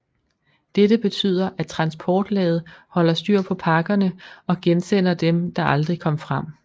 Dette betyder at transportlaget holder styr på pakkerne og gensender dem der aldrig kom frem